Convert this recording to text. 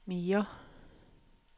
mere